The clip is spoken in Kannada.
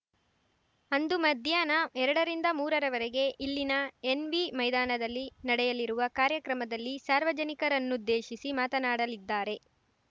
ಅಂದು ಮಧ್ಯಾಹ್ನ ಎರಡರಿಂದ ಮೂರರವರೆಗೆ ಇಲ್ಲಿನ ಎನ್‌ವಿ ಮೈದಾನದಲ್ಲಿ ನಡೆಯಲಿರುವ ಕಾರ್ಯಕ್ರಮದಲ್ಲಿ ಸಾರ್ವಜನಿಕರನ್ನುದ್ದೇಶಿಸಿ ಮಾತನಾಡಲಿದ್ದಾರೆ